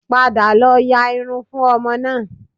Padà lọ ya irun fún ọmọ náà